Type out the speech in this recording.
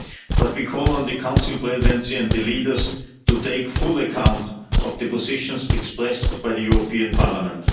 But we call on the Council Presidency and the leaders to take full account of the positions expressed by the European Parliament.